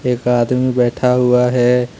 एक आदमी बैठा हुआ है।